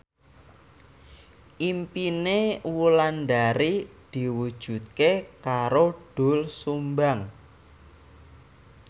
impine Wulandari diwujudke karo Doel Sumbang